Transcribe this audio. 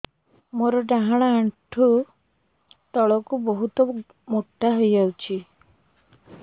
ମୋର ଡାହାଣ ଗୋଡ଼ ଆଣ୍ଠୁ ତଳକୁ ବହୁତ ମୋଟା ହେଇଯାଉଛି